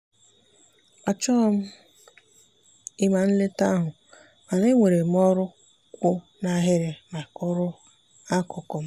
achọghị m ịma nleta ahụ mana enwere m ọrụ kwụ n'ahịrị maka ọrụ akụkụ m.